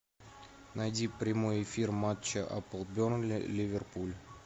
найди прямой эфир матча апл бернли ливерпуль